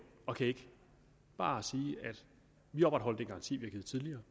og kan ikke bare sige vi opretholder den garanti vi har givet tidligere